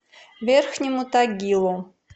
верхнему тагилу